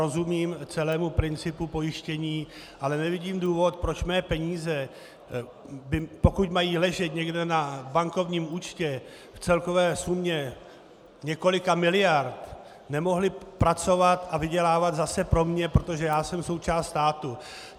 Rozumím celému principu pojištění, ale nevidím důvod, proč mé peníze, pokud mají ležet někde na bankovním účtě v celkové sumě několika miliard, nemohly pracovat a vydělávat zase pro mě, protože já jsem součást státu.